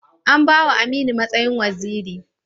An ba wa Aminu matsayin waziri?